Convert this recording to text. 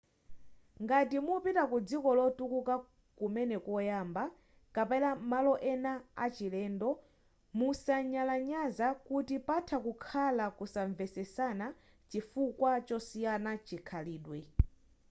ngati mupita ku dziko lotukuka kumene koyamba kapena malo ena a chilendo musanyalanyaza kuti patha kukhala kusanvetsesana chifukwa chosiyana chikhalidwe